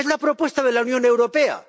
Es la propuesta de la Unión Europea.